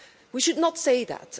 We should not say that.